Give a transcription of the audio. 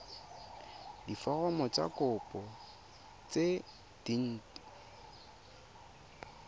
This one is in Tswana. diforomo tsa kopo tse dint